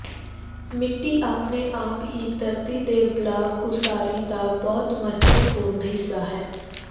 ਮਿੱਟੀ ਆਪਣੇ ਆਪ ਹੀ ਧਰਤੀ ਦੇ ਬਲਾਕ ਉਸਾਰੀ ਦਾ ਬਹੁਤ ਮਹੱਤਵਪੂਰਨ ਹਿੱਸਾ ਹੈ